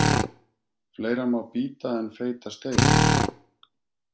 Fleira má bíta en feita steik.